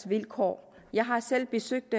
vilkår jeg har selv besøgt